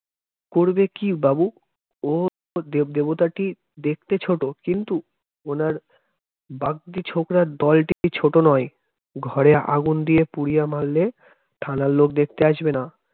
করবে কি বাবু? ও দেব দেবতা কি দেখতে ছোট কিন্তু ওনার বাগদি ছোকরার দলটিকে ছোট নয় ঘরে আগুন দিয়ে পুড়িয়ে মারলে থানার লোক দেখতে আসবে না